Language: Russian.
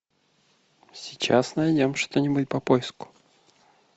сейчас найдем что нибудь по поиску